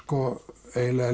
eiginlega